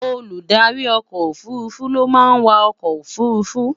Olùdarí ọkọ òfurufú ló máa ń wà ọkọ òfurufú